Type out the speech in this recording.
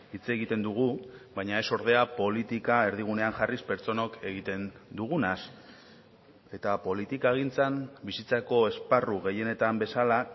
hitz egiten dugu baina ez ordea politika erdigunean jarriz pertsonok egiten dugunaz eta politikagintzan bizitzako esparru gehienetan bezala